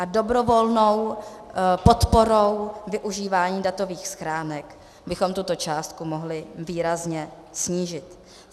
A dobrovolnou podporou využívání datových schránek bychom tuto částku mohli výrazně snížit.